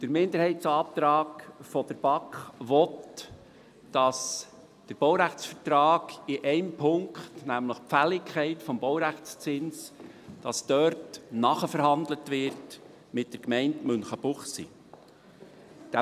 Der Minderheitsantrag der BaK will, dass der Baurechtsvertrag in einem Punkt, nämlich in der Fälligkeit des Baurechtszinses mit der Gemeinde Münchenbuchsee nachverhandelt wird.